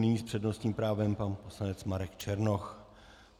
Nyní s přednostním právem pan poslanec Marek Černoch.